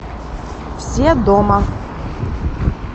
все дома